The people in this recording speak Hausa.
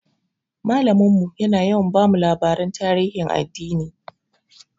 Malamin mu yana yawa bamu labaran tarihin addini.